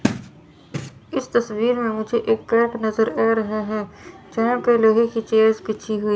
इस तस्वीर में मुझे एक नजर आ रहा है यहां पे लोहे की चेयर्स बिछी हुई--